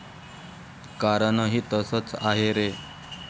कारणही तसच आहे रे.